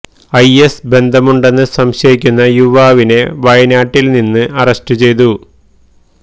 I S ബന്ധമുണ്ടെന്നു സംശയിക്കുന്ന യുവാവിനെ വയനാട്ടില് നിന്നു അറസ്റ്റ് ചെയ്തു